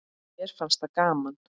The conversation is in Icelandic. Mér fannst það gaman.